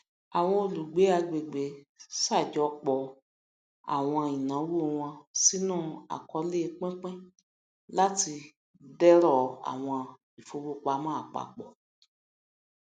àwọn olùgbé àgbègbè ṣàjọpọ àwọn ìnáwó wọn sínú àkọọlẹ pínpín láti dẹrọ àwọn ìfowopamọ àpapọ